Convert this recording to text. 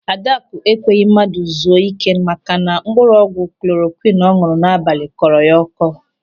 Adakụ ekweghị mmadụ zuo ị́ké maka na mkpụrụ ọgwụ klorokwịn ọ ñụ̀rụ̀ n'abalị kọrọ ya ọ́kọ́.